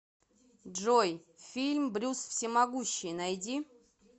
джой фильм брюс всемогущий найди